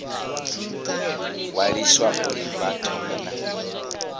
ṅwaliswa uri vha thome na